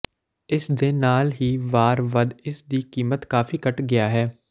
ਇਸ ਦੇ ਨਾਲ ਹੀ ਵਾਰ ਵੱਧ ਇਸ ਦੀ ਕੀਮਤ ਕਾਫ਼ੀ ਘੱਟ ਗਿਆ ਹੈ